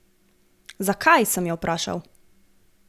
Zakaj, sem jo vprašal.